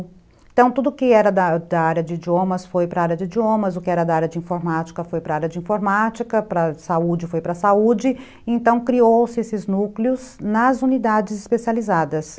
Então tudo que era da área de idiomas foi para a área de idiomas, o que era da área de informática foi para a área de informática, para a área de saúde foi para a saúde, então criou-se esses núcleos nas unidades especializadas.